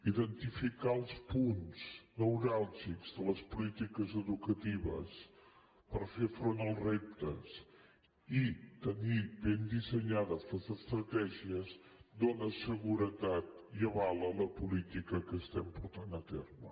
identificar els punts neuràlgics de les polítiques educatives per fer front als reptes i tenir ben dissenyades les estratègies dóna seguretat i avala la política que estem portant a terme